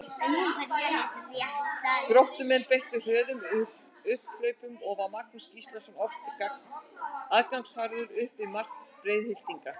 Gróttumenn beittu hröðum upphlaupum og var Magnús Gíslason oft aðgangsharður upp við mark Breiðhyltinga.